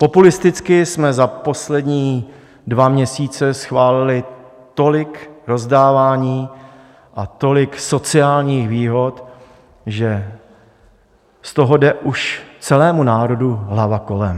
Populisticky jsme za poslední dva měsíce schválili tolik rozdávání a tolik sociálních výhod, že z toho jde už celému národu hlava kolem.